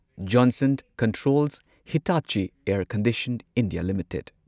Johnson controls Hitachi air condition. India limited